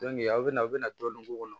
a bɛ na aw bɛna dɔɔnin k'u kɔnɔ